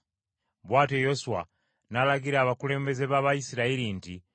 Bw’atyo ne Yoswa n’alagira abakulembeze b’Abayisirayiri nti,